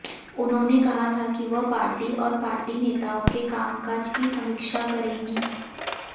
उन्होंने कहा था कि वह पार्टी और पार्टी नेताओं के कामकाज की समीक्षा करेंगी